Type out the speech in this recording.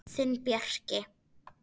Þinn Bjarki.